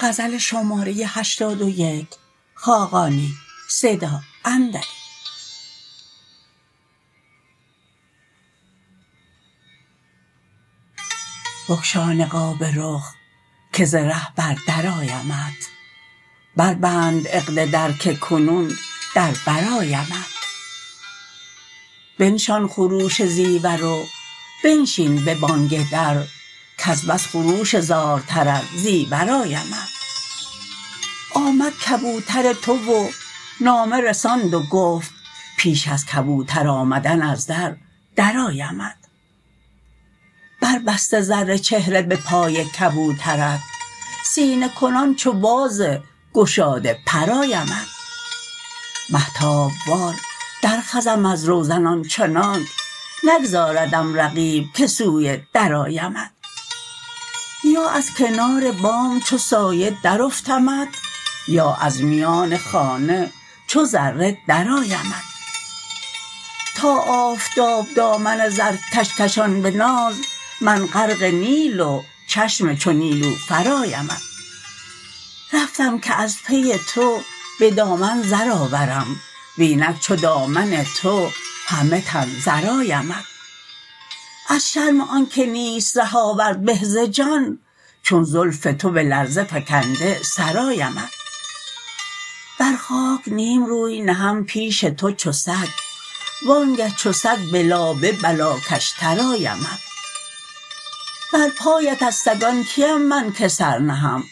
بگشا نقاب رخ که ز ره بر در آیمت بربند عقد در که کنون در بر آیمت بنشان خروش زیور و بنشین به بانگ در کز بس خروش زارتر از زیور آیمت آمد کبوتر تو و نامه رساند و گفت پیش از کبوتر آمدن از در درآیمت بربسته زر چهره به پای کبوترت سینه کنان چو باز گشاده پر آیمت مهتاب وار درخزم از روزن آنچنانک نگذاردم رقیب که سوی در آیمت یا از کنار بام چو سایه درافتمت یا از میان خانه چو ذره درآیمت تا آفتاب دامن زرکش کشان به ناز من غرق نیل و چشم چو نیلوفر آیمت رفتم که از پی تو به دامن زر آورم و اینک چو دامن تو همه تن زر آیمت از شرم آنکه نیست ره آورد به ز جان چون زلف تو به لرزه فکنده سر آیمت بر خاک نیم روی نهم پیش تو چو سگ وانگه چو سگ به لابه بلاکش تر آیمت بر پایت از سگان کیم من که سر نهم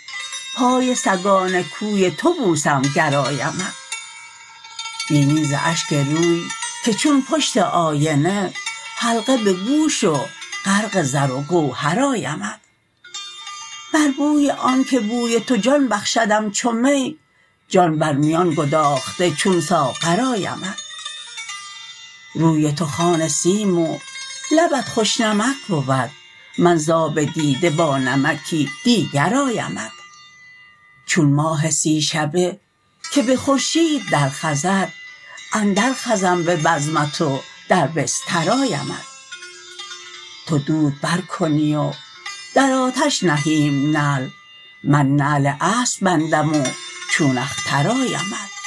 پای سگان کوی تو بوسم گر آیمت بینی ز اشک روی که چون پشت آینه حلقه به گوش و غرق زر و گوهر آیمت بر بوی آنکه بوی تو جان بخشدم چو می جان بر میان گداخته چون ساغر آیمت روی تو خوان سیم و لبت خوش نمک بود من ز آب دیده با نمکی دیگر آیمت چون ماه سی شبه که به خورشید درخزد اندر خزم به بزمت و در بستر آیمت تو دود برکنی و در آتش نهیم نعل من نعل اسب بندم و چون اختر آیمت